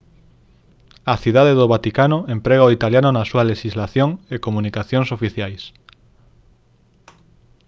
a cidade do vaticano emprega o italiano na súa lexislación e comunicacións oficiais